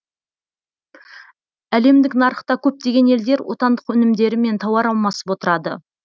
әлемдік нарықта көптеген елдер отандық өнімдерімен тауар алмасып отырады